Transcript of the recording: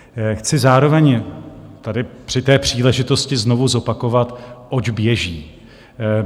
Chci zároveň tady při té příležitosti znovu zopakovat, oč běží.